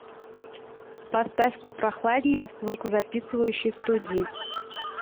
поставь попрохладнее в звукозаписывающей студии